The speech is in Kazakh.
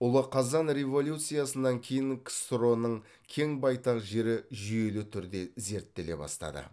ұлы қазан революциясынан кейін ксро ның кен байтақ жері жүйелі түрде зерттеле бастады